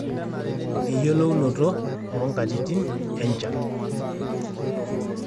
eyiolounoto oo nkatitin enchan